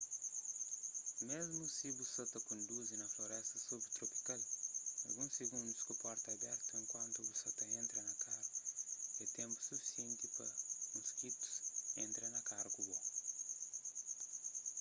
mésmu si bu sa ta konduzi na floresta subtropikal alguns sigundus ku porta abertu enkuantu bu sa ta entra na karu é ténpu sufisienti pa moskitus entra na karu ku bo